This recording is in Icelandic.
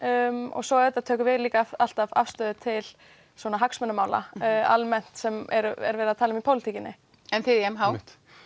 og svo tökum við líka alltaf afstöðu til svona hagsmunamála almennt sem er verið að tala um í pólitíkinni en þið í m h